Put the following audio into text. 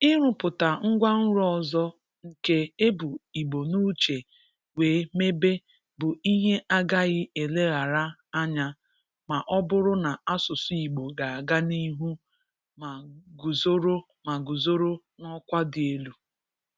Ịrụpụta ngwanro ọzọ nke e bu Igbo n'uche wee mebe bụ ihe agaghị eleghara anya ma ọ bụrụ na asụsụ Igbo ga-aga n'ihu ma guzoro ma guzoro n'ọkwa dị elu.